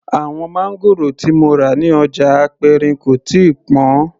Àwọn máńgòrò tí mo rà ní ọjà aperin kò tíì pọn